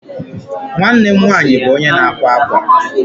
Nwanne m nwaanyị bụ onye na-akwa akwa.